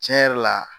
Tiɲɛ yɛrɛ la